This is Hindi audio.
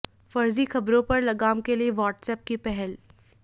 फर्जी खबरों पर लगाम के लिए व्हाट्सऐप की पहल